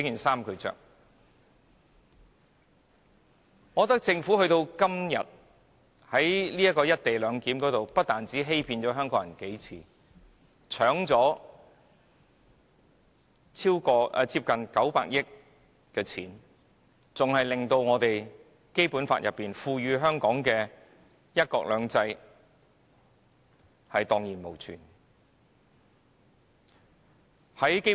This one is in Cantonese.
時至今日，我認為政府不但在"一地兩檢"的議題上數次欺騙香港人，搶奪了近900億元的公帑，更令《基本法》賦予香港的"一國兩制"蕩然無存。